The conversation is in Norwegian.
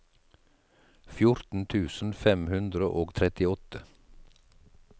fjorten tusen fem hundre og trettiåtte